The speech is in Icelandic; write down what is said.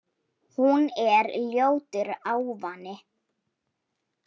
Hún er ljótur ávani.